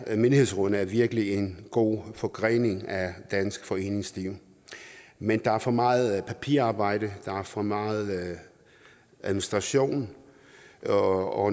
menighedsrådene er virkelig en god forgrening af dansk foreningsliv men der er for meget papirarbejde der er for meget administration og